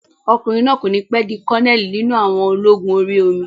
Ọkùnrin náà kò ní pẹ́ di kọ́nẹ̀lì nínú àwọn ológun orí omi